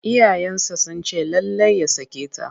Iyayensa sun ce lallai ya sake ta.